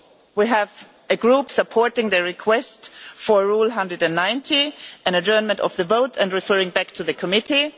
We have a Group supporting the request for Rule 190 on adjournment of the vote and referral back to committee.